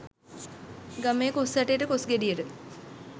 ගමේ කොස් ඇටයට කොස් ගෙඩියට